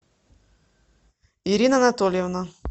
ирина анатольевна